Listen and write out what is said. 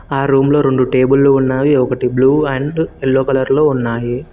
ఆ రూమ్ లో రెండు టేబుల్లు ఉన్నావి ఒకటి బ్లూ అండ్ ఎల్లో కలర్లో ఉన్నాయి.